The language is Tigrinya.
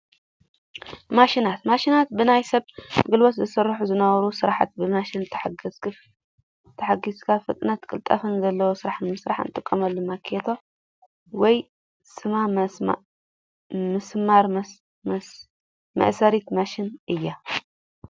ማሽናት፦ ማሽናት ብናይ ሰብ ጉልበት ዝስረሑ ዝነበሩ ስራሕቲ ብማሽን ተሓጊዝካ ፍጥነት ቅልጣፈን ዘለዎ ስራሕ ንምስራሕ እንጥቀማላ ማኬታ ወይ ስማ ምስማር መእሰሪት ማሽን እያ።